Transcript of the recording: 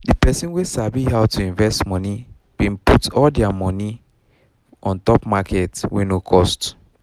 the person wey sabi how to invest money been put all their money on top markets wey no cost